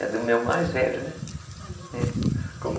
É do meu mais velho, né? Uhum, como